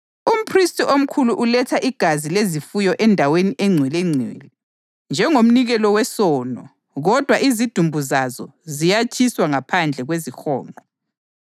Umphristi omkhulu uletha igazi lezifuyo eNdaweni eNgcwelengcwele njengomnikelo wesono kodwa izidumbu zazo ziyatshiswa ngaphandle kwezihonqo.